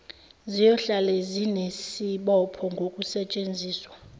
ziyohlale zinesibopho ngokusetshenziswa